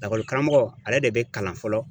Lakɔlikaramɔgɔ, ale de bi kalan fɔlɔ